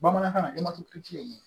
Bamanankan na ye mun ye